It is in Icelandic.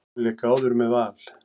Hún lék áður með Val.